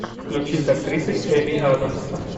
включи с актрисой эмми адамс